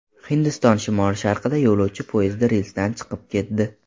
Hindiston shimoli-sharqida yo‘lovchi poyezdi relsdan chiqib ketdi.